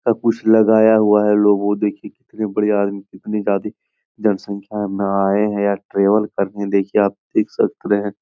सब कुछ लगाया हुआ है लोगो देखिए कितने बड़े आदमी कितने ज्यादा जनसंख्या में आए है या ट्रेवेल करने देखिए आप देख सकते है ।